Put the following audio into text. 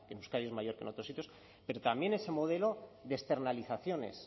que en euskadi es mayor que en otros sitios pero también ese modelo de externalizaciones